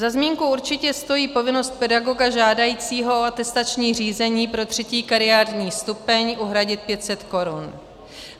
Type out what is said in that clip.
Za zmínku určitě stojí povinnost pedagoga žádajícího o atestační řízení pro třetí kariérní stupeň uhradit 500 korun.